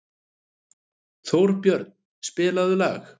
Þórbjörn, spilaðu lag.